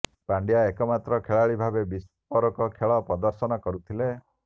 ପ୍ୟାଣ୍ଡ୍ୟା ଏକମାତ୍ର ଖେଳାଳି ଭାବେ ବିସ୍ଫୋରକ ଖେଳ ପ୍ରଦର୍ଶନ କରୁଥିଲେ